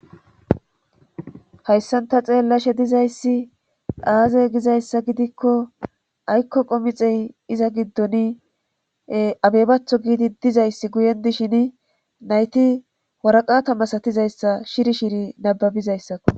hayssanta xeellashe dizayssi aaze gizayssa gidikko aykko qomixey iza giddoni abebatho giidi dizayssi guyen dishin nayti woraqata masatizayssa shiri shiri nababizayssakko